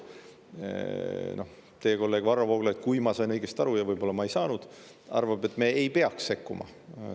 Teie kolleeg Varro Vooglaid – kui ma sain õigesti aru, võib-olla ma ei saanud – arvab, et me ei peaks sekkuma.